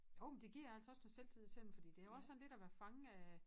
Jo men det giver altså også noget selvtillid til dem for det også sådan lidt at være fange af